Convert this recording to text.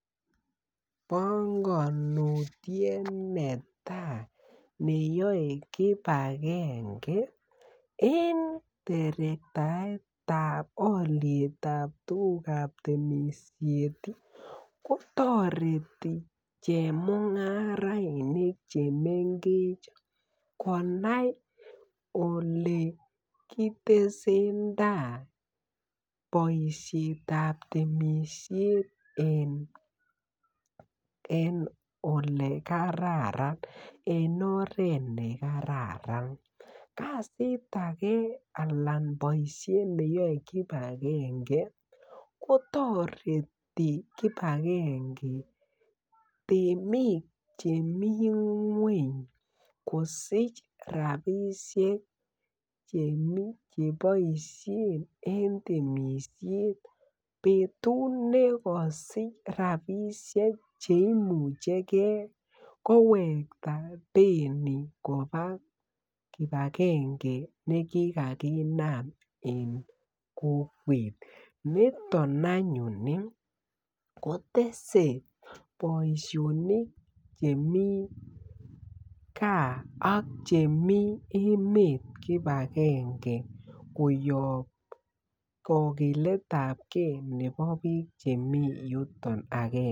Pongonutiet netai neyoe kipakenge en terektaetab olitab tugukab temisiet kotoreti chemung'arainik chemng'ech konai ole kitesen tai boisietab temisiet en ole kararan an en oret nekararan, kasit age alan boisiet neyoe kipange kotoreti kipakenge temik chemi ngweny kosich rapisiek cheboisien en temisiet betut nekosich rapisiek cheimuche gee kowekta teni kobaa kipakenge nekikakinam en kokwet niton anyun ii kotese boisionik chemii gaa ak chemii emet koyop kokiletab gee nebo biik chemi yuton agenge.